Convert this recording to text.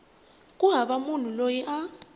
ku hava munhu loyi a